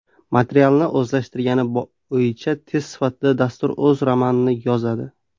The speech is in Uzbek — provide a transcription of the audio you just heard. Materialni o‘zlashtirgani bo‘yicha test sifatida, dastur o‘z romanini yozadi.